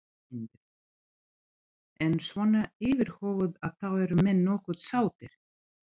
Sindri: En svona yfirhöfuð að þá eru menn nokkuð sáttir?